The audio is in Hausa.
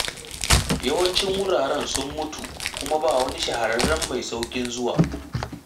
Yawancin wuraren sun mutu kuma ba wani shahararren mai sauƙin zuwa.